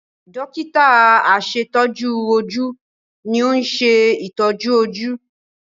Dọ́kítà àṣetọ́jú ojú ni ó ń ṣe ìtọ́jú ojú.